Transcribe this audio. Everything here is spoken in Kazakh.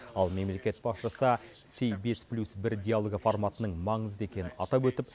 ал мемлекет басшысы сибирис плюс бір диалогі форматының маңызды екенін атап өтіп